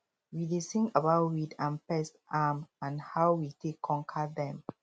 we dey sing about weed and pest um and how we take conquer dem